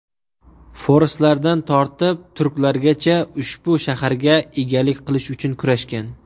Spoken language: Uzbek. Forslardan tortib turklargacha ushbu shaharga egalik qilish uchun kurashgan.